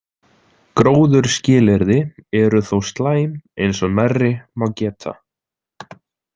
Gróðurskilyrði eru þó slæm, eins og nærri má geta.